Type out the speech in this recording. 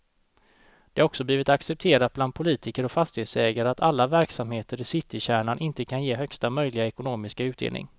Det har också blivit accepterat bland politiker och fastighetsägare att alla verksamheter i citykärnan inte kan ge högsta möjliga ekonomiska utdelning.